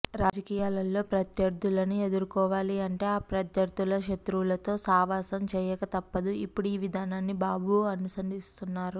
రాజకీయాలలో ప్రత్యర్దులని ఎదుర్కోవాలి అంటే ఆ ప్రత్యర్ధుల శత్రువులతో సహవాసం చేయక తప్పదు ఇప్పుడు ఈ విధానాన్ని బాబు అనుసరిస్తున్నారు